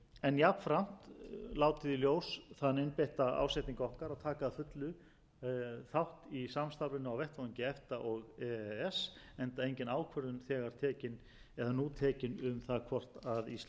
en jafnframt látið í ljós þann einbeitta ásetning okkar að taka að fullu þátt í samstarfinu á vettvangi efta og e e s enda engin ákvörðun nú tekin um það hvort ísland gerist aðili að evrópusambandinu eða